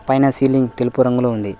పైన సీలింగ్ తెలుపు రంగులో ఉంది.